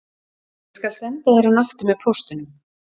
Ég skal senda þér hann aftur með póstinum